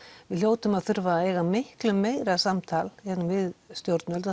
við hljótum að þurfa að eiga miklu meira samtal hérna við stjórnvöld